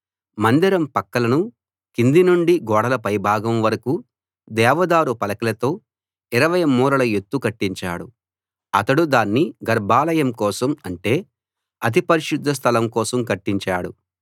మందిరం పక్కలను కింది నుండి గోడల పై భాగం వరకూ దేవదారు పలకలతో 20 మూరల ఎత్తు కట్టించాడు అతడు దాన్ని గర్భాలయం కోసం అంటే అతి పరిశుద్ధ స్థలం కోసం కట్టించాడు